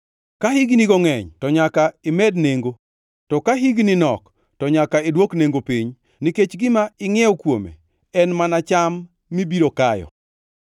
Ka hignigo ngʼeny to nyaka imed nengo, to ka higni nok, to nyaka idwok nengo piny, nikech gima ingʼiewo kuome en mana cham mibiro kayo.